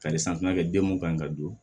Kari santimɛ den mun kan ka don